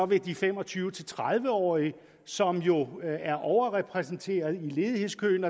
ved de fem og tyve til tredive årige som jo er overrepræsenteret i ledighedskøen